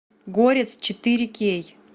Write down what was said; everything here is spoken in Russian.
горец четыре кей